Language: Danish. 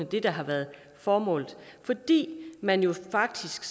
det der har været formålet fordi man faktisk